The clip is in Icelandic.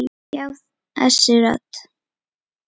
Já, þessi rödd.